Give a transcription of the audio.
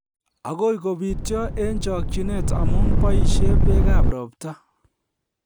Agoi kobityo eng chokchinet amu boisie bekab robta